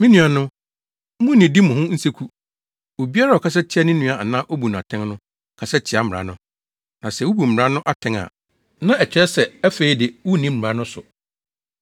Me nuanom, munnnidi mo ho nseku. Obiara a ɔkasa tia ne nua anaa obu no atɛn no, kasa tia mmara no. Na sɛ wubu mmara no atɛn a, na ɛkyerɛ sɛ afei de, wunni mmara no so.